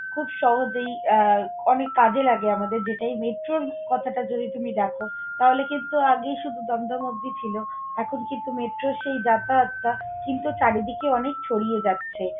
খুব সহজেই আহ অনেক কাজে লাগে আমাদের যেটা এই metro র কথাটা যদি তুমি দেখো, তাহলে কিন্তু আগে শুধু দমদম অবধি ছিল, এখন কিন্তু মেট্রোর সেই যাতায়াতটা কিন্তু চারিদিকে অনেক ছড়িয়ে যাচ্ছে।